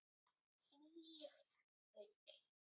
Þvílíkt bull.